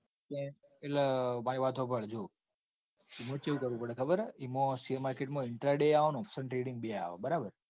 એટલે ભાઈ વાત હોંભળ જો ઇમો હું ચેવું કરવું પડ. ખબર હ ઇમો